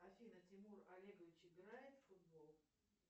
афина тимур олегович играет в футбол